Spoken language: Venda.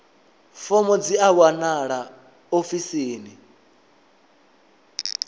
fomo dzi a wanalea ofisini